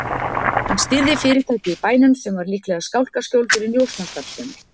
Hann stýrði fyrirtæki í bænum sem var líklega skálkaskjól fyrir njósnastarfsemi.